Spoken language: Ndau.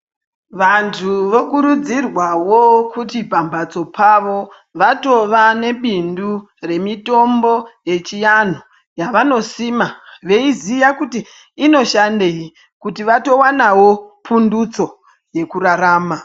Vantu vokurudzirwawo kuti pamatso pavo patova nebindu remitombo yechiantu yavanosima meiziya kuti inoshandeyi kuti kuti vatowanawo pundutso yemurarama .